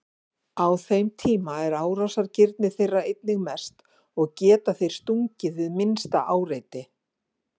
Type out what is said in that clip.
Á þeim tíma er árásargirni þeirra einnig mest og geta þeir stungið við minnsta áreiti.